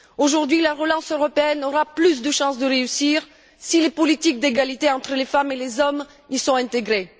Aujourd'hui, la relance européenne aura plus de chances de réussir si les politiques d'égalité entre les femmes et les hommes y sont intégrées.